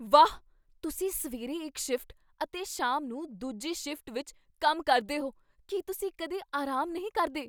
ਵਾਹ! ਤੁਸੀਂ ਸਵੇਰੇ ਇੱਕ ਸ਼ਿਫਟ ਅਤੇ ਸ਼ਾਮ ਨੂੰ ਦੂਜੀ ਸ਼ਿਫਟ ਵਿੱਚ ਕੰਮ ਕਰਦੇ ਹੋ! ਕੀ ਤੁਸੀਂ ਕਦੇ ਆਰਾਮ ਨਹੀਂ ਕਰਦੇ ?